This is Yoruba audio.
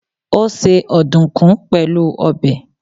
Ó se ọ̀dùkún pẹ̀lú ọbẹ̀.